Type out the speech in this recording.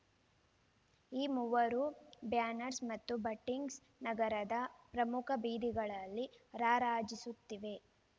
ಈ ಮೂವರ ಬ್ಯಾನರ್ಸ್ ಮತ್ತು ಬಂಟಿಂಗ್ಸ್ ನಗರದ ಪ್ರಮುಖ ಬೀದಿಗಳಲ್ಲಿ ರಾರಾಜಿಸುತ್ತಿವೆ